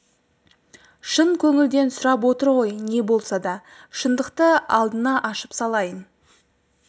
шын көңілден сұрап отыр ғой не болса да шындықты алдына ашып салайын